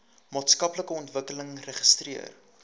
maatskaplike ontwikkeling registreer